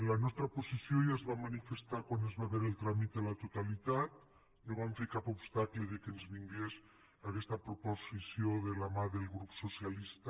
la nostra posició ja es va manifestar quan se’n va veure el tràmit de la totalitat no vam fer cap obstacle perquè ens vingués aquesta proposició de la mà del grup socialista